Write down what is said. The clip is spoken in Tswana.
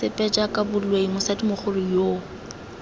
sepe jaaka boloi mosadimogolo yoo